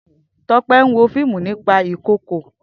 Tope n wó fiimú nipà ikookó